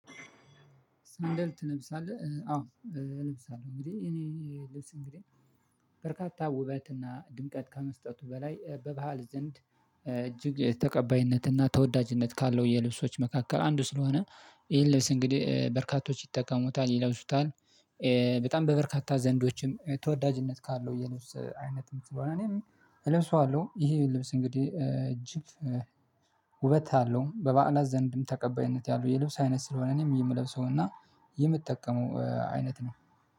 ሳንደል ልብስ አለ አዎ ልብስ አለ እንግዲህ እኔ ልብስ እንግዲህ በርካታ ውበትና ድምቀት ከመስጠቱ በላይ በባህል ዘንድ እጅግ ተቀባይነትና ተወዳጅነት ካለው የልብሶች መካከል አንዱ ስለሆነ ይሄን ልብስ እንግዲህ በርካቶች ይጠቀሙታል ይለብሱታል። በጣም በበርካታ ዘንዶችም ተወዳጅነት ካለው የነበሩት አይነት ነው የምትለው እኔም እለብሰዋለሁ። ይሄ ልብስ እንግዲህ እጅግ ውበት አለው በበአላስ ዘንድም ተቀባይነት ያለው የልብስ አይነት ስለሆነ እኔም የምለብሰውና የምትጠቀሙ አይነት ነው